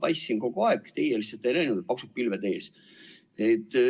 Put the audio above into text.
Ma paistsin kogu aeg, teie lihtsalt ei näinud, paksud pilved olid ees.